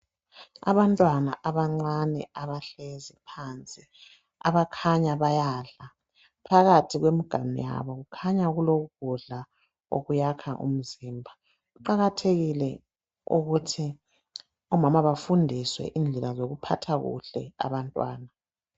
Abantwana abancane abahlezi phansi, abakhanya bayadla. Phakathi kwemiganu yabo kukhanya kulokudla okuyakha umzimba. Kuqakathekile ukuthi omama bafundiswe indlela zokuphatha kuhle abantwana.